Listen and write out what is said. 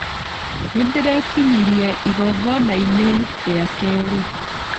Nĩndĩrekinyirie igongona-inĩ rĩa kerĩ.